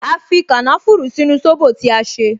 A fi kànáfùrù sínú sóbò tí a ṣe